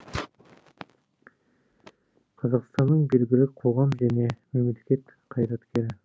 қазақстанның белгілі қоғам және мемлекет қайраткері